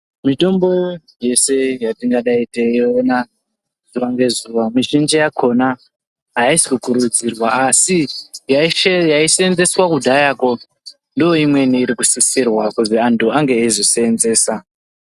Mitombo yese yatingadai eiona zuwa ngezuwa. Mizhinji yakhona aisi kukurudzirwa asi yaishandiswa kudhayakwo ndiyo imweni iri kusisirwa kuti antu ange aizoseenzesa.